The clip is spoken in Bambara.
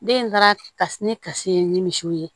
Den in taara kasi ne kasi ye ni misiw ye